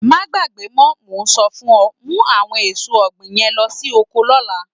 Máa gbàgbé mọ, mo ń sọ fún ọ, mú àwọn èso ọ̀gbìn yẹn lo sí oko lọ́la.